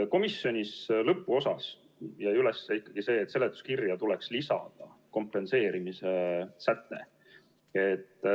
Komisjonis lõpuks jäi üles ikkagi see, et seletuskirja tuleks lisada kompenseerimise säte.